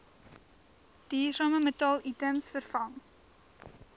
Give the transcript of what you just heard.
duursame metaalitems vervang